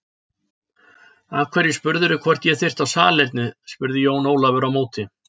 Af hverju spurðirðu hvort ég þyrfti á salernið spurði Jón Ólafur á móti.